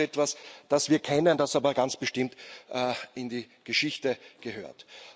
Also, das ist etwas, das wir kennen, das aber ganz bestimmt in die Geschichte gehört.